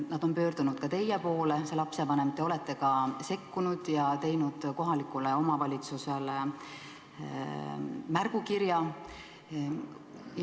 Ta on pöördunud ka teie poole, see lapsevanem, te olete sekkunud ja teinud kohalikule omavalitsusele märgukirja.